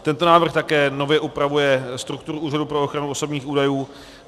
Tento návrh také nově upravuje strukturu Úřadu pro ochranu osobních údajů.